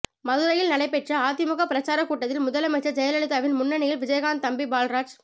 மதுரையில் நடைபெற்ற அதிமுக பிரச்சாரக் கூட்டத்தில் முதலமைச்சர் ஜெயலலிதாவின் முன்னிலையில் விஜயகாந்த் தம்பி பால்ராஜ்